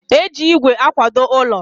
e ji igwe akwado ụlọ.